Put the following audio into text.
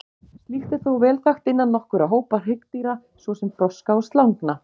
Slíkt er þó vel þekkt innan nokkurra hópa hryggdýra, svo sem froska og slangna.